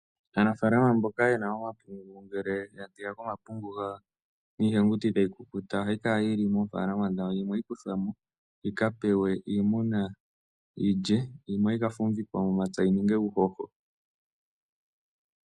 Aanafaalama mboka ye na omapungu ngele ya teya ko omapungu gawo niihenguti tayi kukuta ohayi kala yi li moofaalama dhawo, yimwe ohayi kuthwa mo yi ka pewe iimuna yi lye. Yimwe ohayi ka fumvikwa momapya yi ninge uuhoho.